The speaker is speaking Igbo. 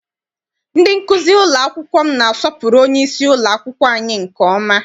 Ndị nkụzi ụlọ akwụkwọ m na-asọpụrụ onyeisi ụlọakwụkwọ anyị nke ọma.